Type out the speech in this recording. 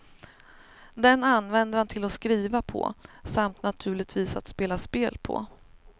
Den använder han till att skriva på, samt naturligtvis att spela spel på.